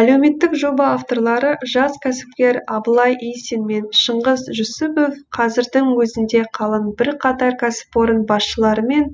әлеуметтік жоба авторлары жас кәсіпкер абылай исин мен шыңғыс жүсіпов қазірдің өзінде қаланың бірқатар кәсіпорын басшыларымен